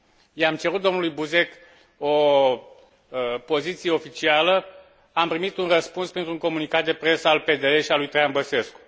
I am cerut domnului Buzek o poziție oficială, am primit un răspuns printr un comunicat de presă al PD L și al lui Traian Băsescu.